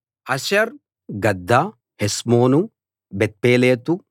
హసర్ Gaddah Heshmon Bethpelet